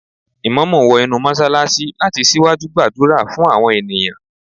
The imam entered the mosque to lead the congregation in prayer